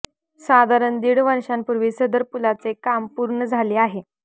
साधारण दीड वर्षापूर्वी सदर पुलाचे काम पूर्ण झाले आहे